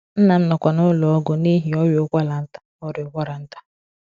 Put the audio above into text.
Nna m nọkwa n’ụlọ ọgwụ n’ihi ọrịa ụkwara nta ọrịa ụkwara nta.